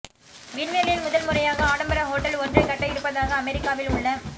விண்வெளியில் முதல்முறையாக ஆடம்பர ஹோட்டல் ஒன்றைக் கட்ட இருப்பதாக அமெரிக்காவில் உள்ள